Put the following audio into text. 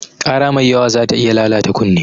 Ƙara mai yawa zata iya lalata kunne.